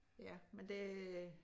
Ja men det